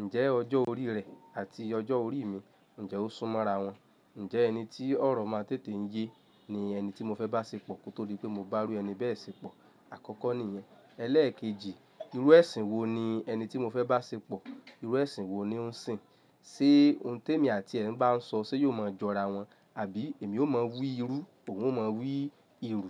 ǹjẹ́ ọjọ́ orí rẹ̀ àti ọjọ́ orí mi ǹjẹ́ ó sún mọ́ra wọn? Ǹjẹ́ ẹni tí ọ̀rọ̀ máa n tètè ń yé ni ẹni tí mo fẹ́ bá ṣepọ̀? Kin torí pé mo bá iru ẹni bẹ́ẹ̀ ṣepọ̀, àkọ́kọ́ nìyẹn. Ẹlẹ́èkejì, irú ẹ̀sìn wo ni ẹni tí mo fẹ́ bá ṣepọ̀ irú ẹ̀sìn wo ni ó ń sìn? Ṣé ohun tí èmi àti rẹ̀ ń bá ń sọ ṣé yóò máa jọra wọn? Àbí èmi ó máa wu irú, òhun máa wu ìrù?